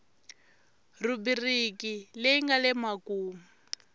rhubiriki leyi nga le makumu